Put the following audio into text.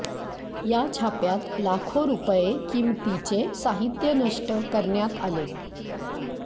या छाप्यात लाखो रुपये किमतीचे साहित्य नष्ट करण्यात आले